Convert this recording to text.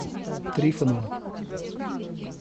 трифонова